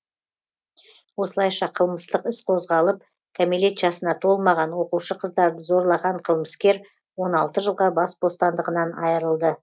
осылайша қылмыстық іс қозғалып кәмелет жасына толмаған оқушы қыздарды зорлаған қылмыскер он алты жылға бас бостандығынан айырылды